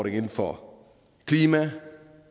inden for klima